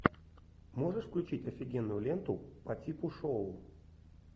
можешь включить офигенную ленту по типу шоу